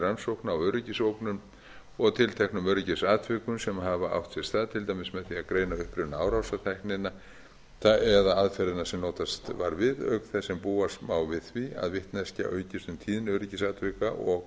rannsókna og öryggisógnun og tilteknum öryggisatvikum sem hafa átt sér stað til dæmis með því að greina uppruna árásartækninnar eða aðferðina sem búast var við auk þess sem búast má við því að vitneskja aukist um tíðni öryggisatvika og